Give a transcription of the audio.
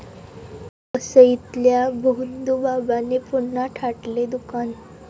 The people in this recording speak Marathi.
वसईतल्या भोंदूबाबाने पुन्हा थाटले दुकान